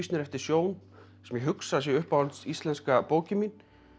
eftir Sjón sem ég hugsa að sé uppáhalds íslenska bókin mín